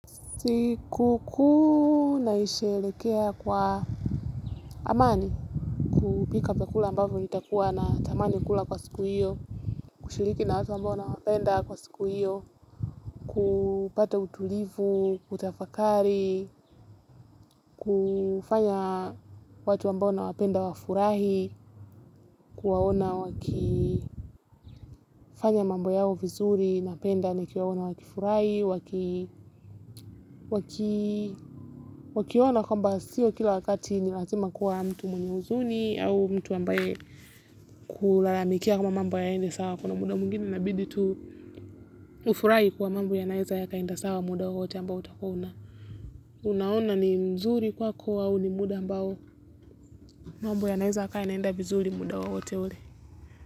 Siku kuu na isherehekea kwa amani, kupika vyakula ambavyo nitakuwa na tamani kula kwa siku hiyo, kushiriki na watu ambao na wapenda kwa siku hiyo, kupata utulivu, kutafakari, kufanya watu ambao nawapenda wafurahi, kuwaona wakifanya mambo yao vizuri napenda nikiwaona wakifurahi, wakiona kwamba sio kila wakati ni lazima kuwa mtu mwenye huzuni, au mtu ambaye kulalamikia kama mambo hayaendi sawa kuna muda mwingine inabidi tu ufurahi kuwa mambo yanaweza yaka enda sawa muda wowote ambao utakuwa una unaona ni mzuri kwako au ni muda ambao mambo yanaeza yaka enda vizuri muda wowote ule.